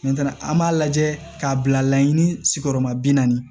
an b'a lajɛ k'a bila laɲini sigiyɔrɔma bi naani